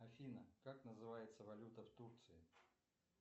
афина как называется валюта в турции